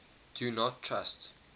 do not trust